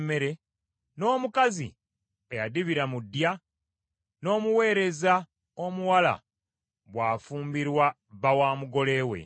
n’omukazi eyadibira mu ddya; n’omuweereza omuwala bw’afumbirwa bba wa mugole we.